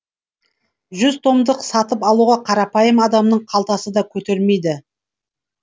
жүз томдықты сатып алуға қарапайым адамның қалтасы да көтермейді